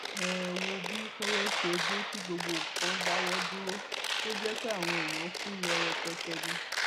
ẹ ẹ wo bí koro ṣe dé tí gbogbo nǹkan dáwọ dúró tó jẹ pé àwọn èèyàn kú ló rẹpẹtẹ ni